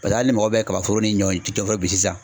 Paseke hali ni mɔgɔ bɛ kaba foro ni ɲɔ in ci foro bin sisan.